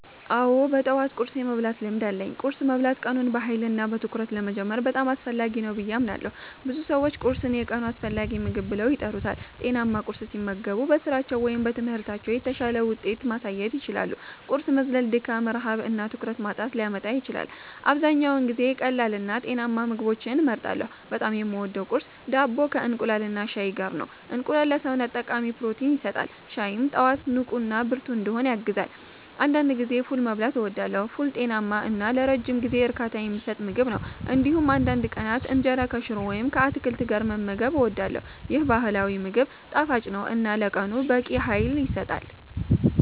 አዎ፣ በጠዋት ቁርስ የመብላት ልምድ አለኝ። ቁርስ መብላት ቀኑን በኃይልና በትኩረት ለመጀመር በጣም አስፈላጊ ነው ብዬ አምናለሁ። ብዙ ሰዎች ቁርስን የቀኑ አስፈላጊ ምግብ ብለው ይቆጥሩታል። ጤናማ ቁርስ ሲመገቡ በስራቸው ወይም በትምህርታቸው የተሻለ ውጤት ማሳየት ይችላሉ። ቁርስ መዝለል ድካም፣ ረሃብ እና ትኩረት ማጣትን ሊያመጣ ይችላል። አብዛኛውን ጊዜ ቀላልና ጤናማ ምግቦችን እመርጣለሁ። በጣም የምወደው ቁርስ ዳቦ ከእንቁላልና ሻይ ጋር ነው። እንቁላል ለሰውነት ጠቃሚ ፕሮቲን ይሰጣል፣ ሻይም ጠዋት ንቁና ብርቱ እንድሆን ያግዛል። አንዳንድ ጊዜ ፉል መብላትም እወዳለሁ። ፉል ጤናማ እና ለረጅም ጊዜ እርካታ የሚሰጥ ምግብ ነው። እንዲሁም አንዳንድ ቀናት እንጀራ ከሽሮ ወይም ከአትክልት ጋር መመገብ እወዳለሁ። ይህ ባህላዊ ምግብ ጣፋጭ ነው እና ለቀኑ በቂ ኃይል ይሰጣል።